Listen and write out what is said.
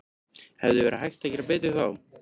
Hefði verið hægt að gera betur þar?